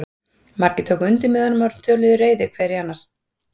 Margir tóku undir með honum og töluðu reiði hver í annan.